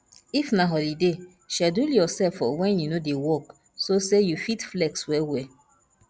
if na holiday schedule yourself for when you no dey work so say you fit flex well well